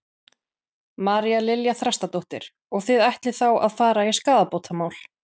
María Lilja Þrastardóttir: Og þið ætlið þá að fara í skaðabótamál?